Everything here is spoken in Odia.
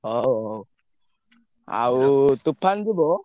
ହଉ ହଉ ଆଉ ତୋଫାନ ଯିବ?